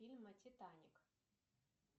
фильма титаник